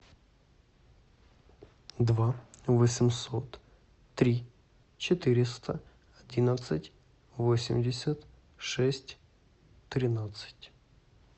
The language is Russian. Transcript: два восемьсот три четыреста одиннадцать восемьдесят шесть тринадцать